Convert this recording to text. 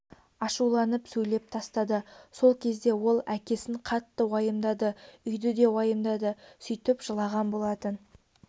ашуланып сөйлеп тастады сол кезде ол әкесін қатты уайымдады үйді де уайымдады сөйтіп жылаған болатын